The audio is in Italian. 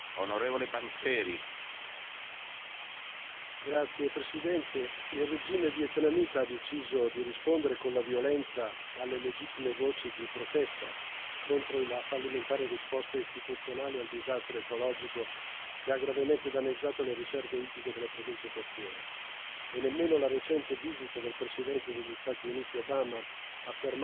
Signor Presidente, onorevoli colleghi, il regime vietnamita ha deciso di rispondere con la violenza alle legittime voci di protesta contro il la fallimentare risposta istituzionale al disastro ecologico che ha gravemente danneggiato le riserve ittiche delle province costiere. Nemmeno la recente visita del Presidente degli Stati Uniti Obama ha fermato la repressione e altri sei attivisti sono stati arrestati.